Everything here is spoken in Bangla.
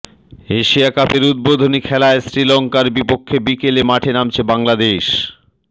এশিয়া কাপের উদ্বোধনী খেলায় শ্রীলঙ্কার বিপক্ষে বিকেলে মাঠে নামছে বাংলাদেশ